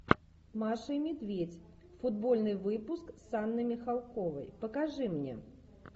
маша и медведь футбольный выпуск с анной михалковой покажи мне